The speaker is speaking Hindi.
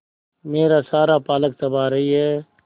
मेरा सारा पालक चबा रही है